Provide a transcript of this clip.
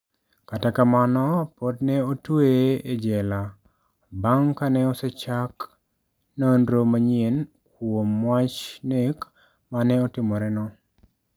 Kata kamano, pod ne otweye e jela, bang' ka ne osechak nonro manyien kuom wach nek ma ne otimoreno.